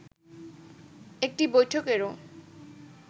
একটি বৈঠকেরও